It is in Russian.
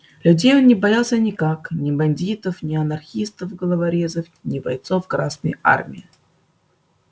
людей он не боялся никаких ни бандитов не анархистов-головорезов ни бойцов красной армии